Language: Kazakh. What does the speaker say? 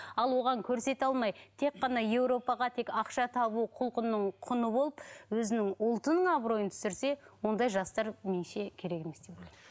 ал оған көрсете алмай тек қана еуропаға тек ақша табу құлқынның құны болып өзінің ұлтының абыройын түсірсе ондай жастар меніңше керек емес деп ойлаймын